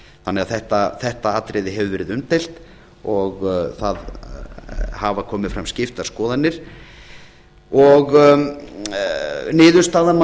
þannig að þetta atriði hefur verið umdeilt og það hafa komið fram skiptar skoðanir niðurstaðan má